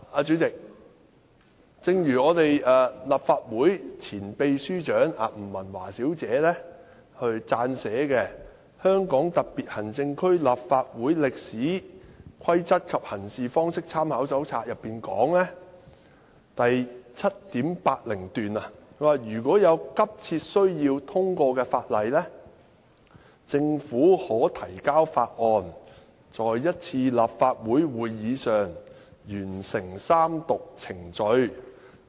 主席，立法會前秘書長吳文華小姐撰寫的《香港特別行政區立法會歷史、規則及行事方式參考手冊》第 7.80 段提到："如有急切需要通過法例，政府可提交法案，在一次立法會會議上完成三讀程序。